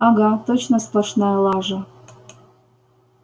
ага точно сплошная лажа